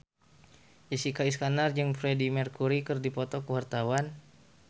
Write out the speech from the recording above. Jessica Iskandar jeung Freedie Mercury keur dipoto ku wartawan